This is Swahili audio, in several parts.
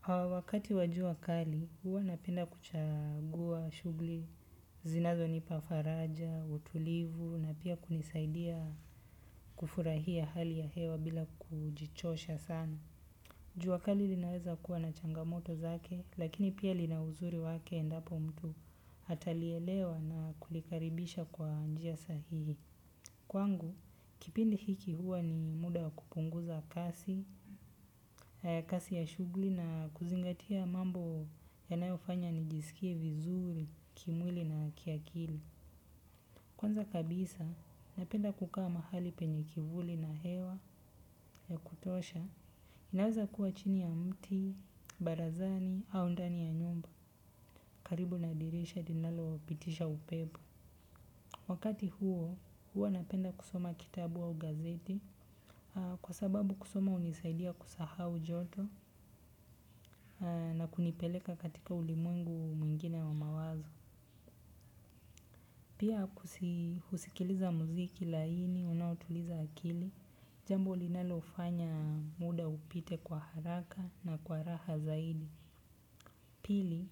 Ha wakati wa jua kali, huwa napenda kuchagua shugli, zinazonipa faraja, utulivu, na pia kunisaidia kufurahia hali ya hewa bila kujichosha sana. Jua kali linaweza kuwa na changamoto zake, lakini pia lina uzuri wake endapo mtu hatalielewa na kulikaribisha kwa njia sahihi. Kwangu, kipindi hiki huwa ni muda kupunguza kasi, kasi ya shugli na kuzingatia mambo yanayofanya nijisikie vizuri, kimwili na kiakili. Kwanza kabisa, napenda kukaa mahali penye kivuli na hewa ya kutosha. Inaweza kuwa chini ya mti barazani au ndani ya nyumba karibu na dirisha linalopitisha upepo. Wakati huo, huwa napenda kusoma kitabu au gazeti kwa sababu kusoma unisaidia kusahau joto na kunipeleka katika ulimwengu mwingine wa mawazo. Pia kusikiliza muziki laini, unaotuliza akili, jambo linalofanya muda upite kwa haraka na kwa raha zaidi. Pili,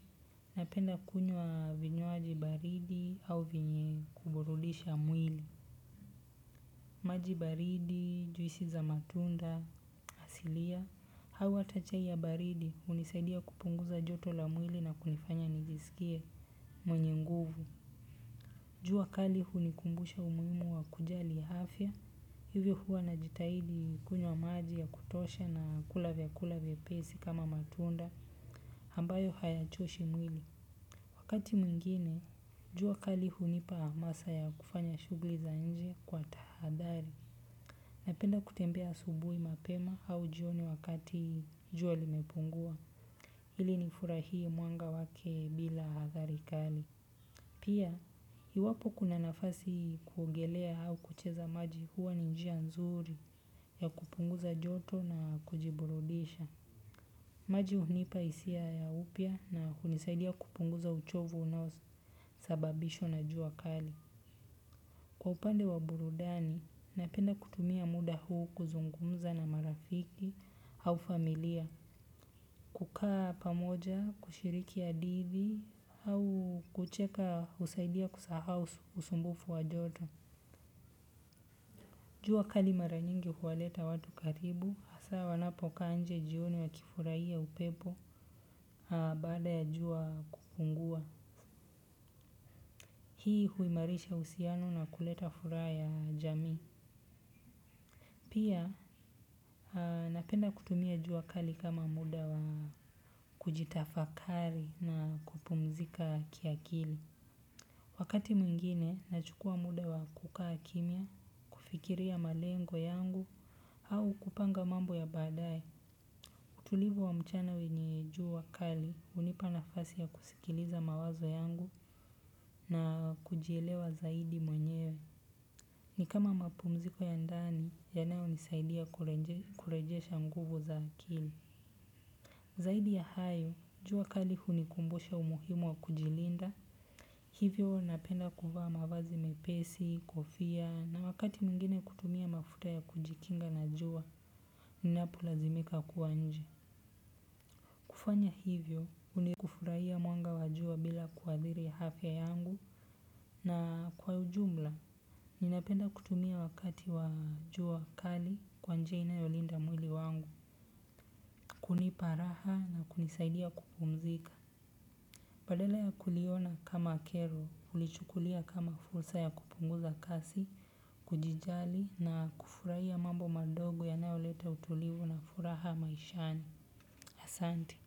napenda kunywa vinywaji baridi au vyenye kuburudisha mwili. Maji baridi, juisi za matunda, asilia, hau ata chai ya baridi, unisaidia kupunguza joto la mwili na kunifanya nijisikie mwenye nguvu. Jua kali hunikumbusha umuimu wa kujali hafya. Hivyo huwa najitahidi kunywa maji ya kutosha na kula vyakula vyepesi kama matunda, hambayo haya choshi mwili. Wakati mwingine, jua kali hunipa masaa ya kufanya shugli za nje kwa tahadhari. Napenda kutembea asubui mapema au jioni wakati jua limepungua ili nifurahii mwanga wake bila adhari kali. Pia hiwapo kuna nafasi kuogelea au kucheza maji huwa ni njia nzuri ya kupunguza joto na kujiburudisha. Maji hunipa isia ya upya na kunisaidia kupunguza uchovu unao sababishwa na jua kali. Kwa upande wa burudani, napenda kutumia muda huu kuzungumza na marafiki au familia. Ukaa pamoja kushiriki adidhi au kucheka husaidia kusahau usumbufu wa joto. Jua kali mara nyingi huwaleta watu karibu, hasa wanapo kaa nje jioni wa kifuraia upepo baada ya jua kupungua. Hii huimarisha usiano na kuleta fura ya jamii. Pia napenda kutumia jua kali kama muda wa kujitafakari na kupumzika kiakili. Wakati mwingine, nachukua muda wa kukaa kimia, kufikiria malengo yangu, au kupanga mambo ya baadae. Utulivu wa mchana wenye jua kali, unipa nafasi ya kusikiliza mawazo yangu na kujielewa zaidi mwenyewe. Ni kama mapumziko ya ndani, yanayonisaidia kurejesha nguvu za akili. Zaidi ya hayo, jua kali hunikumbusha umuhimu wa kujilinda. Hivyo napenda kuvaa mavazi mepesi, kofia na wakati mwingine kutumia mafuta ya kujikinga na jua, unapo lazimika kua nje. Kufanya hivyo, kufurahia mwanga wa jua bila kuadhiri ya hafya yangu na kwa ujumla. Ninapenda kutumia wakati wa jua kali kwa njia inayolinda mwili wangu, kunipa raha na kunisaidia kupumzika. Badala ya kuliona kama kero, ulichukulia kama fursa ya kupunguza kasi, kujijali na kufuraia mambo madogo yanayoleta utulivu na furaha maishani asanti.